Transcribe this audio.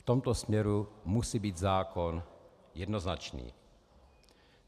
V tomto směru musí být zákon jednoznačný.